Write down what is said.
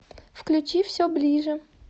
включи все ближе